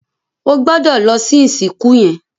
O gbódò lò ìsìnkú yén!